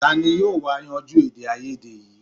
Tani yóò wá yanjú èdèàìyedè yìí